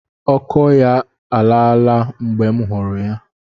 Ọkọ ya alaa la mgbe m hụrụ ya.